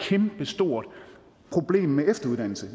kæmpestort problem med efteruddannelse